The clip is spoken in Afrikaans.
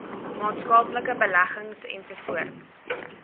maatskaplike beleggings ens